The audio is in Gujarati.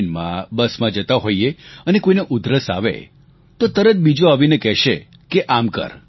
ટ્રેનમાં બસમાં જતા હોઈએ અને કોઈને ઉધરસ આવે તો તરત બીજો આવીને કહેશે કે આમ કર